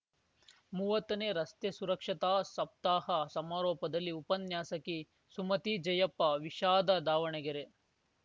ಮುವತ್ತನೇ ರಸ್ತೆ ಸುರಕ್ಷತಾ ಸಪ್ತಾಹ ಸಮಾರೋಪದಲ್ಲಿ ಉಪನ್ಯಾಸಕಿ ಸುಮತಿ ಜಯಪ್ಪ ವಿಷಾದ ದಾವಣಗೆರೆ